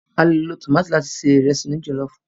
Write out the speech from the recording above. A lò lo tómátì láti se Ìrẹ́sì òní jọ̀lọ́ọ̀fù